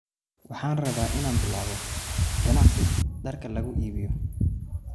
Waxaan rabaa in aan bilaabo ganacsi dharka lagu iibiyo